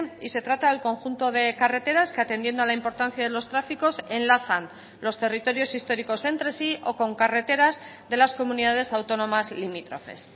y se trata al conjunto de carreteras que atendiendo a la importancia de los tráficos enlazan los territorios históricos entre sí o con carreteras de las comunidades autónomas limítrofes